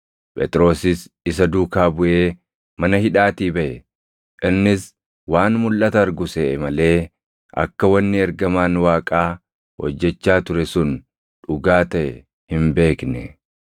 Phexrosis isa duukaa buʼee mana hidhaatii baʼe; innis waan mulʼata argu seʼe malee akka wanni ergamaan Waaqaa hojjechaa ture sun dhugaa taʼe hin beekne.